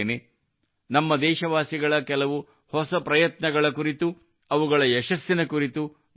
ನಮ್ಮ ದೇಶವಾಸಿಗಳ ಕೆಲವು ಹೊಸ ಪ್ರಯತ್ನಗಳ ಕುರಿತು ಅವುಗಳ ಯಶಸ್ಸಿನ ಕುರಿತು ಮಾತನಾಡೋಣ